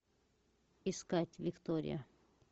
искать виктория